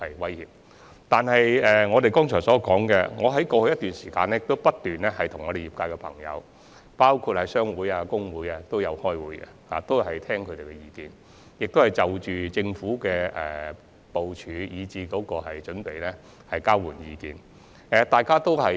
正如我剛才提到，在過去一段時間，我不斷與業界人士會面，包括商會及工會代表，聽取他們的意見，以及就政府的部署和準備與他們交流意見。